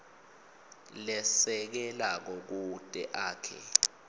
lesekelako kute akhe